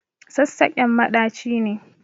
Sassaƙen maɗaci ne.